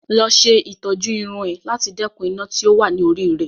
Lọ ṣe ìtọ́jú irun ẹ láti dẹ́kun iná tó wà ni orí rẹ